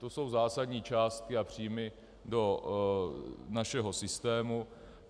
To jsou zásadní částky a příjmy do našeho systému.